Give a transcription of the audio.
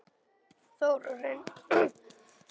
Þórarinn Guðbjörnsson hló og skríkti við hliðina á henni.